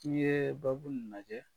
K'i yɛɛ babul najɛ